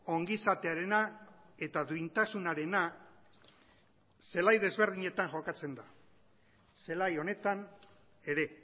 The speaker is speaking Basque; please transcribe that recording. ongizatearena eta duintasunarena zelai desberdinetan jokatzen da zelai honetan ere